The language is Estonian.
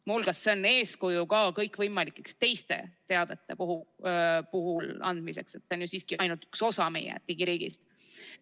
Muu hulgas on see eeskuju ka kõikvõimalike teiste teadete puhul, see on ju siiski ainult üks osa meie digiriigist.